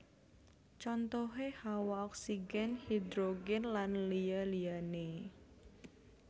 Contohé Hawa oksigèn hidrogèn lan liya liyané